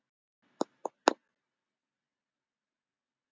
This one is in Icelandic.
Arna Sif.